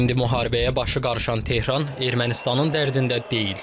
İndi müharibəyə başı qarışan Tehran Ermənistanın dərdində deyil.